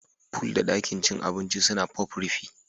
Pool da ɗakin cin abinci suna Pop rufi